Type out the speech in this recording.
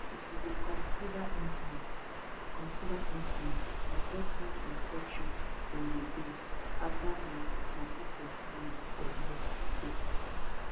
if you dey consider implant consider implant na just small insertion dem go do after that na peace of mind for years straight